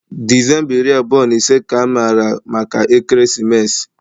December iri abụọ na ise ka amara maka ekeresimesi.